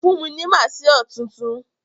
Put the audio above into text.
Fún mi ni maaṣer tuntun.